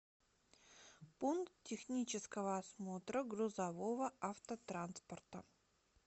пункт технического осмотра грузового автотранспорта